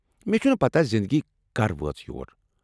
مےٚ چھنہٕ پتاہ زنٛدگی کر وٲژ یوٚر ۔